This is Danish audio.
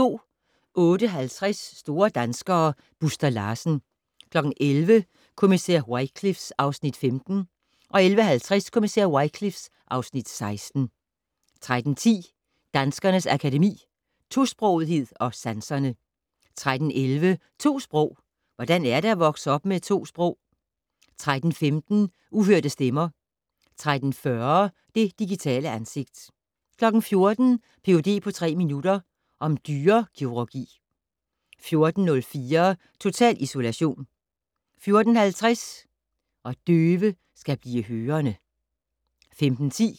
08:50: Store danskere - Buster Larsen 11:00: Kommissær Wycliffe (Afs. 15) 11:50: Kommissær Wycliffe (Afs. 16) 13:10: Danskernes Akademi: Tosprogethed & Sanserne 13:11: To sprog - hvordan er det at vokse op med to sprog? 13:15: Uhørte stemmer 13:40: Det digitale ansigt 14:00: Ph.d. på tre minutter - om dyrekirurgi 14:04: Total isolation 14:50: ... og døve skal blive hørende